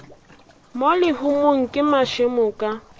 mo lehumong ke mašemo ka